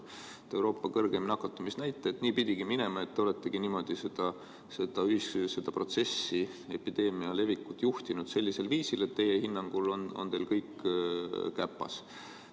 Et kui on Euroopa kõrgeim nakatumisnäitaja, siis nii pidigi minema, et te oletegi niimoodi seda protsessi, seda epideemia levikut juhtinud, sellisel viisil, et teie hinnangul on teil kõik käpas.